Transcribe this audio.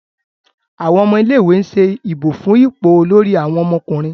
Àwọn ọmọ ilé ìwé ń ṣe ìbò fún ipò Olórí àwọn ọmọkùnrin